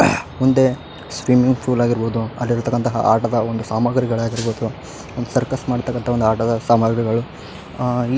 ಒಂದು swimming pool ‌ ಆಗಿರ್ಬಹುದು ಅಲ್ಲಿ ಇರ್ತಕಂತಹ ಆಟದ ಒಂದು ಸಾಮಾಗ್ರಿಗಳಾಗಿರ್ಬಹುದು ಒಂದು ಸರ್ಕರ್ ಮಾಡ್ತಕಂತ ಒಂದು ಆಟದ ಸಾಮಾಗ್ರಿಗಳು ಅಹ್ --